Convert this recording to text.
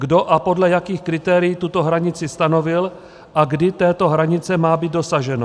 Kdo a podle jakých kritérií tuto hranici stanovil a kdy této hranice má být dosaženo?